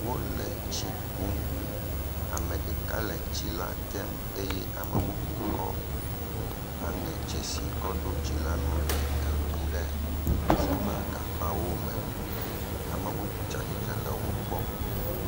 Wole tsi kum, ame ɖeka le tsi la tem eye ame bubu kɔ aŋɛ tsi si kɔ ɖo tsi la ŋu le ekum ɖe silva gagbawo me. Ame bubu tsia tsitre le wokpɔm.